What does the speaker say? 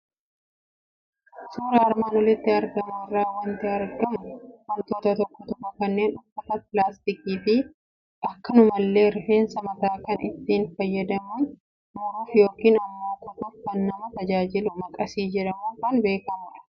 Suuraa armaan olitti argamu irraa waanti argamu, wantoota tokko tokko kanneen uffataa, philaastikiifi akkanumallee rifeensa mataa kan ittiin fayyadamuun muruuf yookiin immoo kutuuf kana nama tajaajilu Maqasiii jedhamuun kan beekamudha.